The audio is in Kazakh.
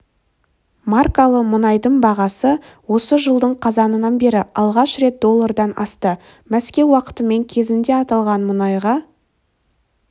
маркалы мұнайдың бағасы осы жылдың қазанынан бері алғаш рет доллардан асты мәскеу уақытымен кезінде аталған мұнайға